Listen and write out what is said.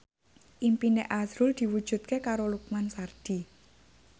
impine azrul diwujudke karo Lukman Sardi